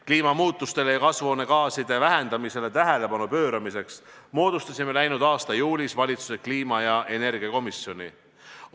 Kliimamuutustele ja kasvuhoonegaaside vähendamisele tähelepanu pööramiseks moodustasime läinud aasta juulis valitsuse kliima- ja energiakomisjoni.